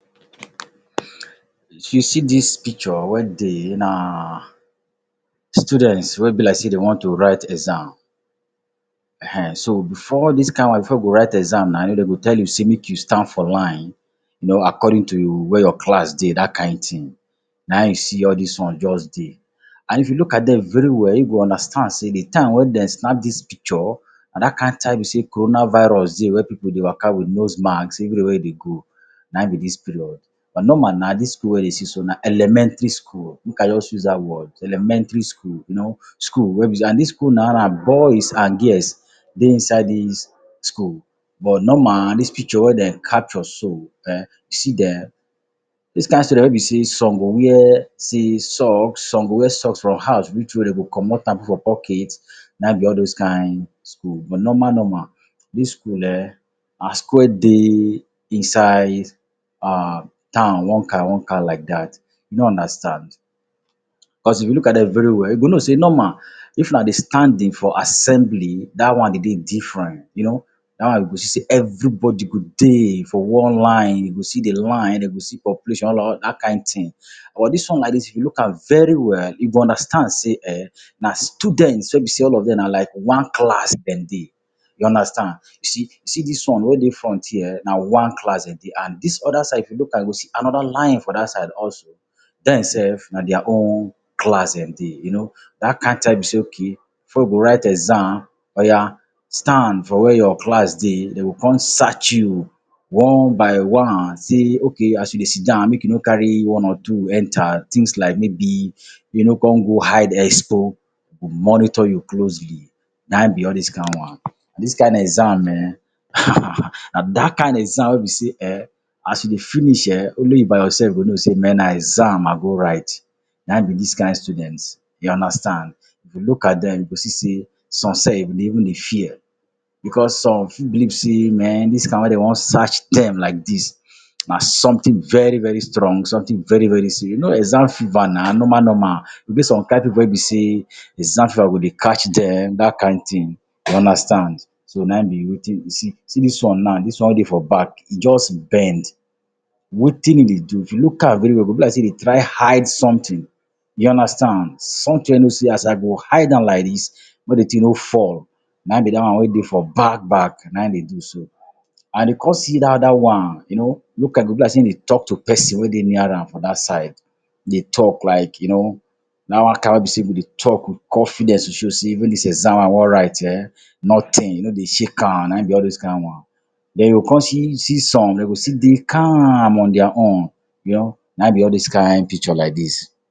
you see dis picture wey dey na students wey be like sey dem want to write exam. Ehen. So, before all this kind one, before you go write exam na, dem go tell you sey make you stand for line, you know according to where your class dey. That kind thing. Na hin you see all dis one just dey. And if you look at dem very well, you go understand sey de time when dem snap dis picture na that kind time wey be sey corona virus dey, wey pipu dey waka with nose mask everywhere wey they go. Na hin be dis period. But, normal na dis school wey you dey see so na elementary school. Make I just use that word. Elementary school. You know, school wey be sey and dis school boys and girls dey inside dis school. But, normal dis picture wey dem capture so um see dem. This kind student wey be sey some go wear sey socks, some go wear socks from house reach where dem go comot am for pocket, na hin be all those kind school. But, normal normal, dis school um na school wey dey inside um town one kind one kind like that. You no understand? Cause if you look at dem very well, you go know sey normal if na de standing for assembly, that one dey dey different. You know, that one you go see sey everybody go dey for one line. You go see de line, dem you go see population, that kind thing. Or dis one like dis if you look am very well, you go understand sey um, na students wey be sey all of dem na like one class dem dey. You understand. See see dis one wey dey front here, na one class dem dey. And dis other side if you look am, you go see another line for that side also. Dem self na their own class dem dey. You know, that kind time wey be sey okay, before we go write exam, oya stand for where your class dey. Dem go come search you one by one sey okay as you dey sit down, make you no carry one or two enter. Things like maybe make you no come go hide expo, dem go monitor you closely. Na be all these kind one. And dis kind exam um na that kind exam wey be sey um as you dey finish um, only you by yourself go know sey men na exam I go write. Na be dis kind students. You understand. If you look at dem, you go see sey some self dey even dey fear, because some fit believe sey men dis one wey dem one search dem like dis, na something very very strong, something very very serious. You know exam fever na, normal normal. E get some kind pipu wey be sey exam fever go dey catch dem. That kind thing. You understand. So, na hin be wetin you see see dis one now, dis one wey dey for back e just bend. Wetin im dey do, if you look am very well, e be like sey e dey try hide something. You understand. Something wey you know sey as I go hide am like dis, make de thing no fall. Na be that one wey dey for back back, na e dey do so. And you come see that other one, you know. Look am e go be like sey e dey talk to person wey dey near am for that side. Dey talk like you know, that one kind wey be sey you go dey talk, confidence go show sey even dis exam wey I want write um, nothing e no dey shake am. Na be all those kind one. Then, you go come see see some, dem go still dey calm on their own, you know. Na hin be all those kind picture like dis.